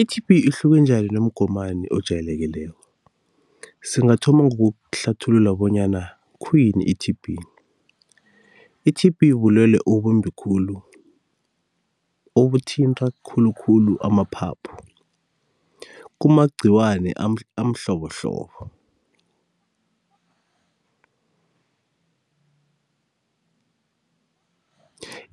I-T_B ihluke njani nomgomani ojayelekileko? Singathoma ngokuhlathulula bonyana khuyini i-T_B? I-T_B bulwelwe obumbi khulu, obuthinta khulukhulu amaphaphu, kumagciwani amhlobohlobo.